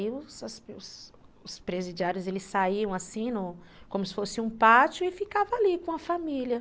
E aí os os os presidiários saíam assim, como se fosse um pátio, e ficavam ali com a família.